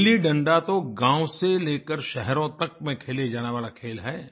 गिल्लीडंडा तो गाँव से लेकर शहरों तक में खेले जाने वाला खेल है